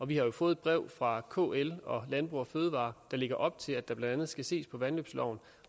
vi har jo fået brev fra kl og landbrug fødevarer der lægger op til at der blandt andet skal ses på vandløbsloven